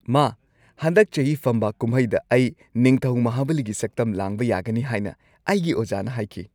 ꯃꯥ, ꯍꯟꯗꯛ ꯆꯍꯤ ꯐꯝꯕꯥꯛ ꯀꯨꯝꯍꯩꯗ ꯑꯩ ꯅꯤꯡꯊꯧ ꯃꯍꯥꯕꯂꯤꯒꯤ ꯁꯛꯇꯝ ꯂꯥꯡꯕ ꯌꯥꯒꯅꯤ ꯍꯥꯏꯅ ꯑꯩꯒꯤ ꯑꯣꯖꯥꯅ ꯍꯥꯏꯈꯤ꯫